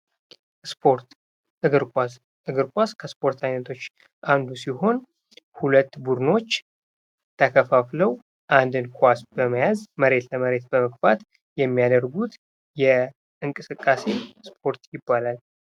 ስፖርት እግር ኳስ፣ እግር ኳስ ከስፖርቶች አንዱ ሲሆን ሁለት ቡድኖች ተከፋፍለው አንድ ኳስ በመያዝ መሬት ለመሬት በመግፉት የሚያደርጉት የእንቅስቃሴ እስፖርት ይባላል።